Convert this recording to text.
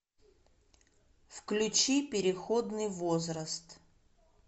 включи переходный возраст